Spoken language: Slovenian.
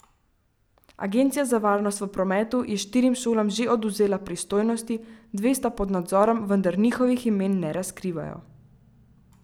Agencija za varnost v prometu je štirim šolam že odvzela pristojnosti, dve pa sta pod nadzorom, vendar njihovih imen ne razkrivajo.